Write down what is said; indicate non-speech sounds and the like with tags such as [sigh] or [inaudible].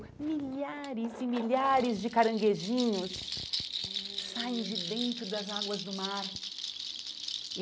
Milhares e milhares de caranguejinhos [unintelligible] saem de dentro das águas do mar.